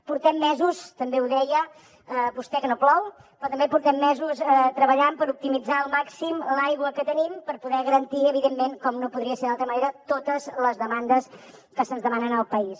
portem mesos també ho deia vostè que no plou però també portem mesos treballant per optimitzar al màxim l’aigua que tenim per poder garantir evidentment com no podria ser d’altra manera totes les demandes que se’ns demanen al país